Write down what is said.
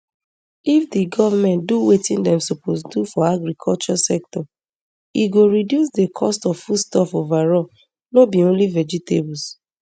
if di goment do wetin dem suppose do for agriculture sector e go reduce di cost of foodstuffs overall no be only vegetables